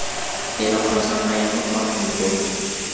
tiro kgotsa maemo kwa moepong